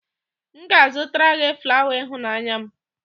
M ga-azụtara gị flawa ịhụnanya m